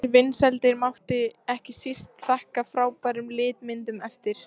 Þær vinsældir mátti ekki síst þakka frábærum litmyndum eftir